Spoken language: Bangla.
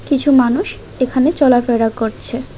কিছু মানুষ এখানে চলাফেরা করছে।